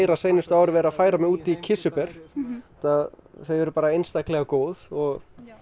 síðustu ár verið að færa mig út í kirsuber því þau eru bara einstaklega góð og